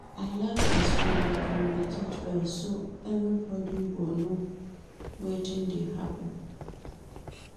I like as we dey communicate well so everybodi go know wetin dey happen.